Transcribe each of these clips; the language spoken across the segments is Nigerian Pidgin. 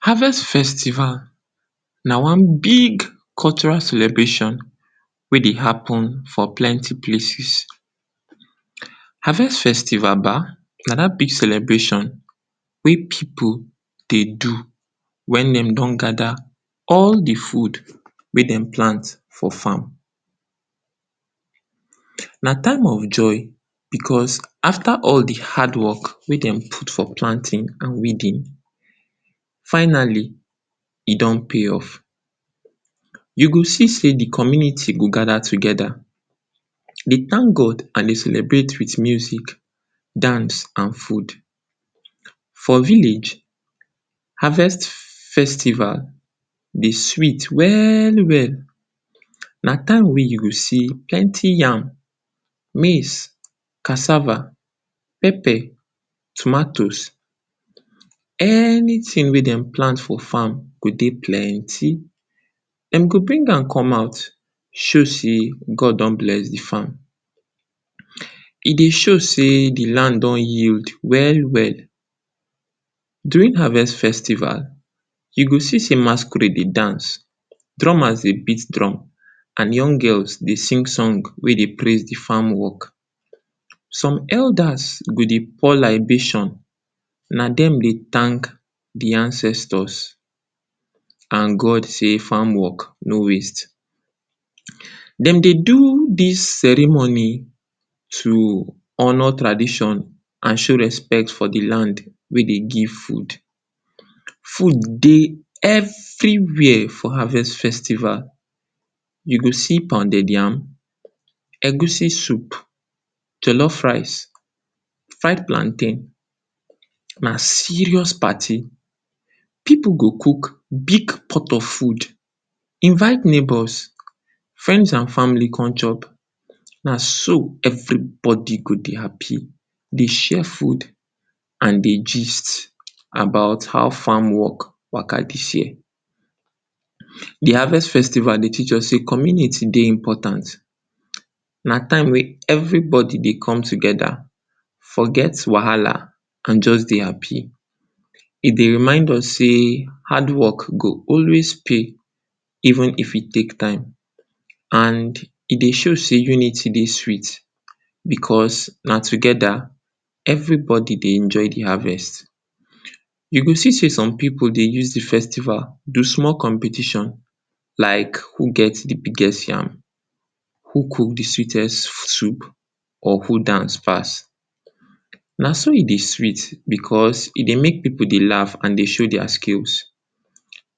Harvest festival na one big cultural celebration wey dey happen for plenty places harvest festival ba na dat big celebration wey pipu dey do Wen dem don gada all the food wey dem plant for farm na time of joy because after all im hard work, wey dem put for planting and weeding finally. E don pay off you go see sey de community go father togeda dey tank God and dey celebrate with music dance or food for village. Harvest festival dey sweet well well. na time wey you go see plenty yam maize cassava pepper tomatoes anyting wey dem plant for farm go dey plenty dem go bring am come out from farm show sey God don bless de farm. e dey show sey de land don yield well well. during harvest festival you go see sey masquerade dey dance drummers dey beat drum and young girls dey sing song wey dey praise the farm work some elders go dey pour libations. na dem dey tank the ancestors and God sey farm work no wey dem dey do, dis ceremony to honour tradition and show respect for de bad wey dey give food. food dey everywhere for harvest festival you go see pounded yam Egusi soup jollof rice, fried plantain na serious party. pipu go cook big pot of food invite neighbours friend and families come chop. na so everybody go dey happy dey share food dey gist about how farm work waka. dis year, de harvest festival dey um teach us sey community dey important. na time wey everybody dey come togeda forget wahala and just dey happy. e dey remind us sey hard work go always pay even if e take time and e dey show sey unity dey sweet because na togeda everybody dey enjoy de harvest you go still see some pipu dey use the festival do small. Competition like who gets de biggest farm, who cook de sweetest food or who dance pass. na so e dey sweet because e dey make pipu laugh and dey show dia skills.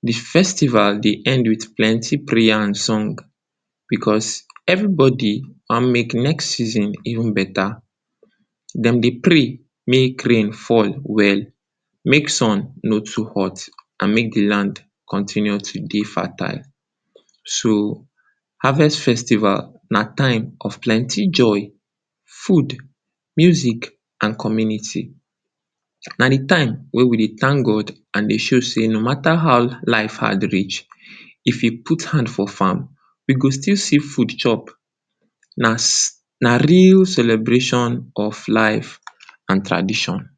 de festival dey end with plenty prayers and songs because everybody wan make next season even beta. dem dey pray make rain fall well, make sun no too hot, and make de land continue to dey fertile. so harvest festival na time of plenty joy, food music and community. na de time wey we dey tank God and dey show sey no mata wat, how life hard reach, if you put hand for farm we go still see food chop. na real celebration of life and tradition.